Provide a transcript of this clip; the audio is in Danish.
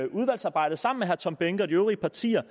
udvalgsarbejdet sammen med herre tom behnke og de øvrige partiers